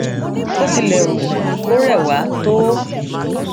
bó ti lè wù kó rẹ wá tó